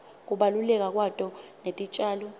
kubaluleka kwato netitjalo